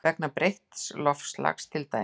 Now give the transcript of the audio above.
Vegna breytts loftslags til dæmis?